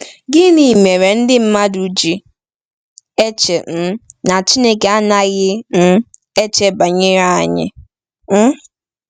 Gịnị mere ndị mmadụ ji eche um na Chineke anaghị um eche banyere anyị? um